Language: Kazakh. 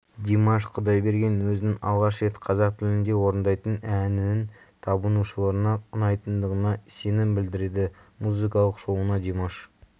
димаш құдайберген өзінің алғаш рет қазақ тілінде орындайтын әнінің табынушыларына ұнайтындығына сенім білдірді музыкалық шоуына димаш